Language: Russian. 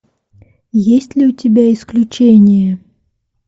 есть ли у тебя исключения